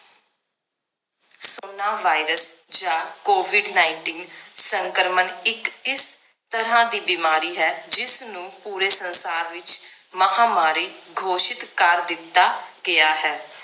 corona virus ਜਾਂ covid nineteen ਸੰਕ੍ਰਮਣ ਇਕ ਤਰਾਹ ਦੀ ਬਿਮਾਰੀ ਹੈ ਜਿਸ ਨੂੰ ਪੂਰੇ ਸੰਸਾਰ ਵਿਚ ਮਹਾਮਾਰੀ ਘੋਸ਼ਿਤ ਕਰ ਦਿੱਤਾ ਗਿਆ ਹੈ